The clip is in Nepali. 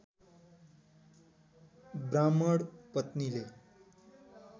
ब्राह्मण पत्नीले